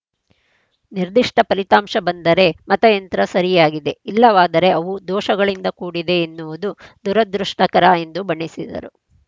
ನಿರ್ದಿಷ್ಟಫಲಿತಾಂಶ ಬಂದರೆ ಮತಯಂತ್ರ ಸರಿಯಾಗಿದೆ ಇಲ್ಲವಾದರೆ ಅವು ದೋಷಗಳಿಂದ ಕೂಡಿದೆ ಎನ್ನುವುದು ದುರದೃಷ್ಟಕರ ಎಂದು ಬಣ್ಣಿಸಿದರು